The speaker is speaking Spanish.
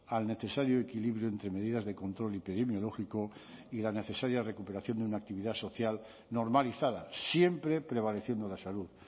al necesario equilibrio entre medidas de control epidemiológico y la necesaria recuperación de una actividad social normalizada siempre prevaleciendo la salud